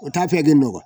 O t'a filɛ kɛ n nɔ